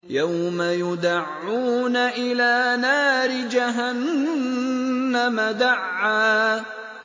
يَوْمَ يُدَعُّونَ إِلَىٰ نَارِ جَهَنَّمَ دَعًّا